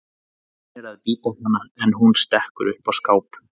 Hann reynir að bíta hana en hún stekkur upp á skáp.